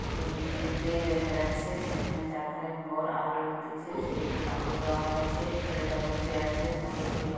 বেদিতে এইটাই দেখা যাচ্ছে। সেখানে চারধারে ঘর আলো জ্বলতিছে স্টেজ -এ কাপড় দেওয়া হয়াছে ছেলেটা বসে আছে। হাতে খড়ি বা--